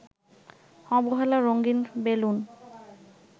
অবহেলা রঙিন বেলুন